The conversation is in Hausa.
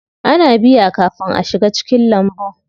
Ana biya kafin a shiga cikin lambun.